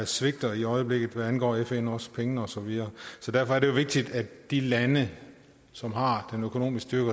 svigter i øjeblikket hvad angår fn også penge og så videre så derfor er det jo vigtigt at de lande som har den økonomiske